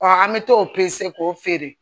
an bɛ t'o k'o feere